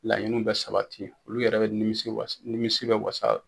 Laɲiniw bɛ sabati , olu yɛrɛ bɛ nimisi wasa, nimisi bɛ wasa